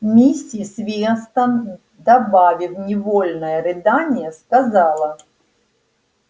миссис вестон добавив невольное рыдание сказала